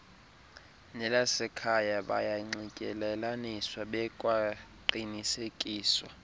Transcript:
nelasekhaya bayanxityelelaniswa bekwaqinisekiswa